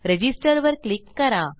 register वर click करा